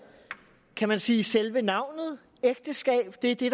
kan man sige selve navnet ægteskab det er det